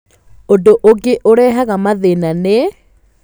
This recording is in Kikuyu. Ũndũ ũngĩ ũrehaga mathĩna nĩ: